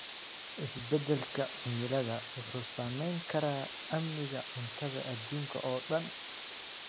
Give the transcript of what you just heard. Isbedelka cimilada wuxuu saameyn karaa amniga cuntada adduunka oo dhan.